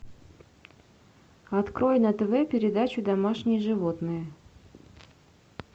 открой на тв передачу домашние животные